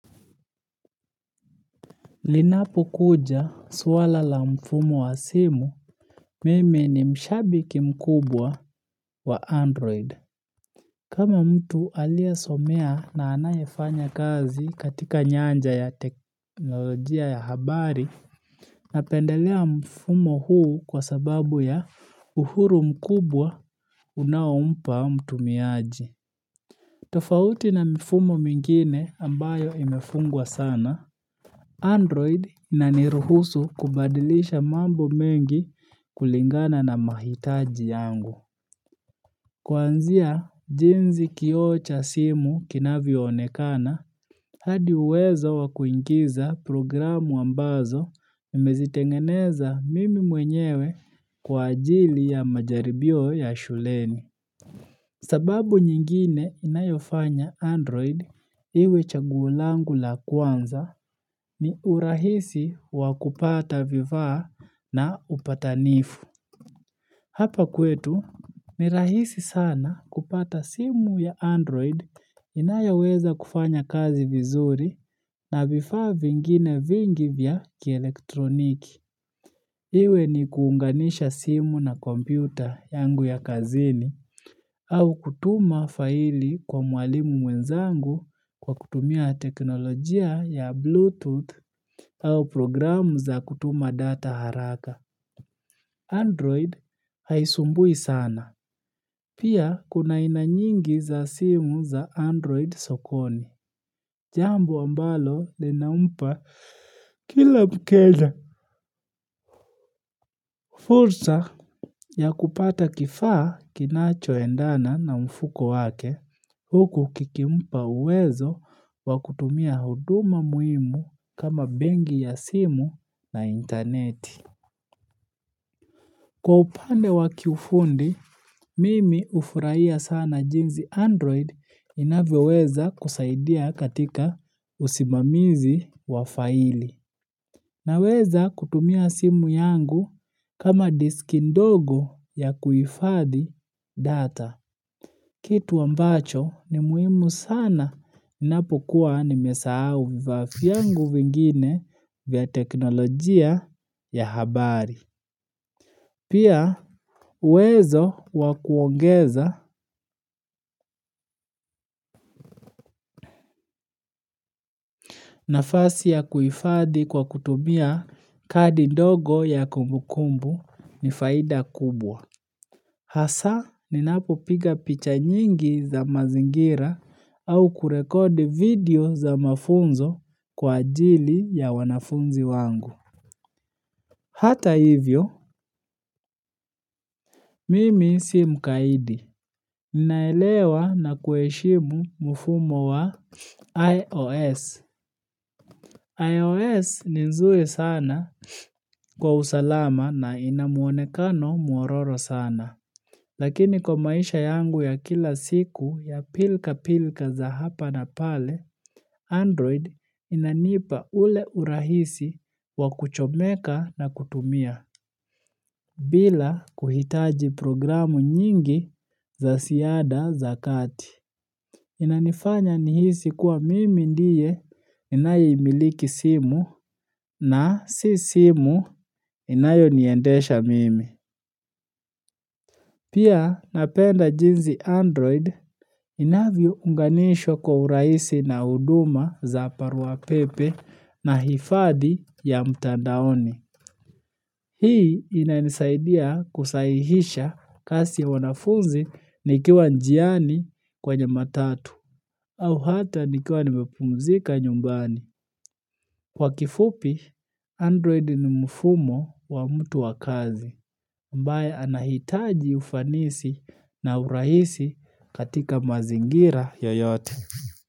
Linapokuja swala la mfumo wa simu, mimi ni mshabiki mkubwa wa android. Kama mtu aliyesomea na anayefanya kazi katika nyanja ya teknolojia ya habari, napendelea mfumo huu kwa sababu ya uhuru mkubwa unaompa mtumiaji. Tofauti na mfumo mingine ambayo imefungwa sana, Android ina niruhusu kubadilisha mambo mengi kulingana na mahitaji yangu. Kwanzia, jinsi kioo cha simu kinavyo onekana, hadi uwezo wakuingiza programu ambazo nimezitengeneza mimi mwenyewe kwa ajili ya majaribio ya shuleni. Sababu nyingine inayofanya Android iwe chaguo langu la kwanza ni urahisi wakupata vivaa na upatanifu. Hapa kwetu, ni rahisi sana kupata simu ya Android inayoweza kufanya kazi vizuri na vifaa vingine vingi vya kielektroniki. Iwe ni kuunganisha simu na kompyuta yangu ya kazini au kutuma faili kwa mwalimu mwenzangu kwa kutumia teknolojia ya Bluetooth au programu za kutuma data haraka. Android haisumbui sana. Pia kuna haina nyingi za simu za Android sokoni. Jambo ambalo linampa kila mteja fursa ya kupata kifaa kinacho endana na mfuko wake, huku kikimpa uwezo wakutumia huduma muhimu kama benki ya simu na interneti. Kwa upande wa kiufundi, mimi ufurahia sana jinsi Android inavyoweza kusaidia katika usimamizi wa faili. Naweza kutumia simu yangu kama diski ndogo ya kuifadhi data. Kitu ambacho ni muhimu sana ninapokua nimesahau vifaa vyangu vingine vya teknolojia ya habari. Pia, uwezo wakuongeza nafasi ya kuifadhi kwa kutumia kadi ndogo ya kumbukumbu ni faida kubwa. Hasa, ninapo piga picha nyingi za mazingira au kurekodi video za mafunzo kwa ajili ya wanafunzi wangu. Hata hivyo, mimi si mkaidi. Ninaelewa na kueshimu mfumo wa IOS. iOS ni nzuri sana kwa usalama na inamuonekano mwororo sana. Lakini kwa maisha yangu ya kila siku ya pilka pilka za hapa na pale, Android inanipa ule urahisi wa kuchomeka na kutumia, bila kuhitaji programu nyingi za siada za kati. Inanifanya nihisi kuwa mimi ndiye ninaye imiliki simu na si simu inayo niendesha mimi. Pia napenda jinsi android inavyo unganisho kwa uraisi na uduma za paruwa pepe na hifadhi ya mtandaoni. Hii inanisaidia kusahihisha kazi ya wanafunzi nikiwa njiani kwenye matatu. Au hata nikiwa nimepumzika nyumbani. Kwa kifupi, android ni mfumo wa mtu wakazi, ambaye anahitaji ufanisi na urahisi katika mazingira yoyote.